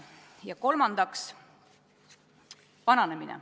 Ja kolmandaks, vananemine.